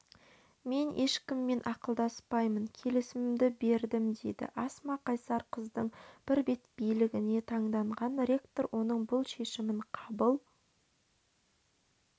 мен ешкіммен ақылдаспаймын келісіміді бердім дейді асма қайсар қыздың бірбеткейлігіне таңданған ректор оның бұл шешімін қабыл